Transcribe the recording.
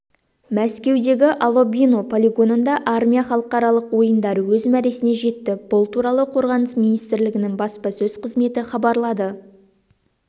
мәскеудегі алабино полигонында армия халықаралық ойындары өз мәресіне жетті бұл туралы қорғаныс министрлігінің баспасөз қызметі хабарлады